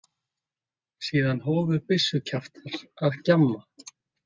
Síðan hófu byssukjaftar að gjamma.